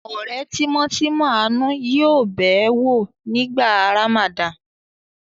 Ọ̀rẹ́ tímọ́tímọ́ Àánú yóò bẹ̀ ẹ́ wò nígbà Ramadan.